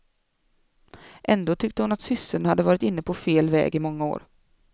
Ändå tyckte hon att systern hade varit inne på fel väg i många år.